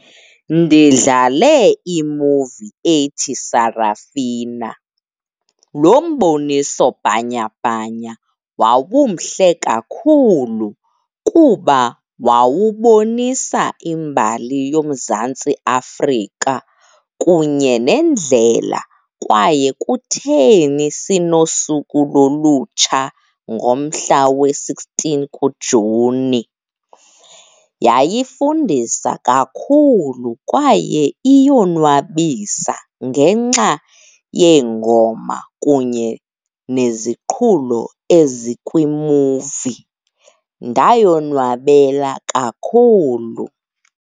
Ndidlale imuvi ethi Sarafina. Lo mbonisobhanyabhanya wawumhle kakhulu kuba wawubonisa imbali yoMzantsi Afrika kunye nendlela kwaye kutheni sinosuku lolutsha ngomhla we-sixteen kuJuni. Yayifundisa kakhulu, kwaye iyonwabisa ngenxa yeengoma kunye neziqhulo ezikwimuvi. Ndayonwabela kakhulu.